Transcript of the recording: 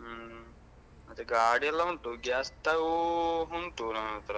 ಹ್ಮ್ ಮತ್ತೆ ಗಾಡಿ ಎಲ್ಲ ಉಂಟು gas stove ಉಂಟು ನನ್ನತ್ರ